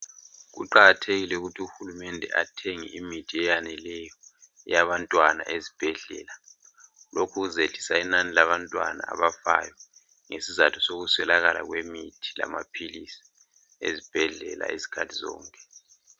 Kuqakathekile ukuthi uhulumede athenge imithi eyaneleyo eyabantwana ezibhedlela lokhu kuzayehlisa inani labantwana abafayo ngesizathu sokuswekakala kwemithi lamaphilisi ezibhedlela isikhathi zonke